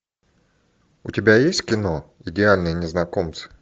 у тебя есть кино идеальные незнакомцы